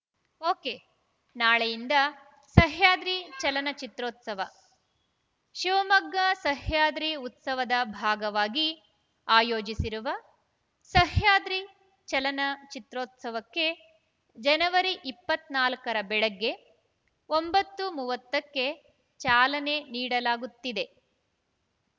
ಒಕೆನಾಳೆಯಿಂದ ಸಹ್ಯಾದ್ರಿ ಚಲನ ಚಿತ್ರೋತ್ಸವ ಶಿವಮೊಗ್ಗ ಸಹ್ಯಾದ್ರಿ ಉತ್ಸವದ ಭಾಗವಾಗಿ ಆಯೋಜಿಸಿರುವ ಸಹ್ಯಾದ್ರಿ ಚಲನಚಿತ್ರೋತ್ಸವಕ್ಕೆ ಜನವರಿ ಇಪ್ಪತ್ತ್ ನಾಲ್ಕ ರ ಬೆಳಗ್ಗೆ ಒಂಬತ್ತು ಮೂವತ್ತಕ್ಕೆ ಚಾಲನೆ ನೀಡಲಾಗುತ್ತಿದೆ